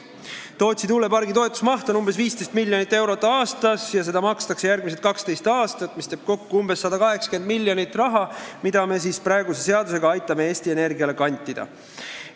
Tootsi tuulepargi toetuse maht on 15 miljonit eurot aastas ja seda makstakse järgmised 12 aastat, mis teeb kokku umbes 180 miljonit eurot, mida me siis peatse seadusega aitame Eesti Energiale kantida.